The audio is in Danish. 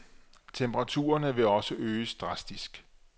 Temperaturerne vil også øges drastisk.